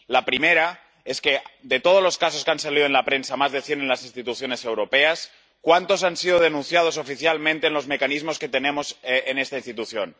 La primera es que, de todos los casos que han salido en la prensa —más de cien en las instituciones europeas—, ¿cuántos han sido denunciados oficialmente en los mecanismos que tenemos en esta institución?